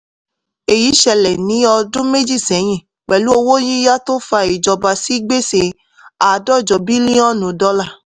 èyí ṣẹlẹ̀ ní ọdún méjì ṣẹ́yìn pẹ̀lú owó yíyá tó fa ìjọba sí gbèsè àádọ́jọ bílíọ̀nù dọ́là.